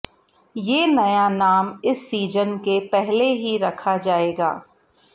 ये नया नाम इस सीजन के पहले ही रखा जाएगा